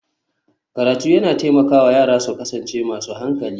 Karatu yana taimaka wa yara su kasance masu hankali